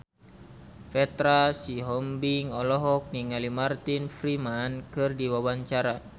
Petra Sihombing olohok ningali Martin Freeman keur diwawancara